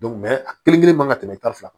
a kelen kelen man ka tɛmɛ tan ni fila kan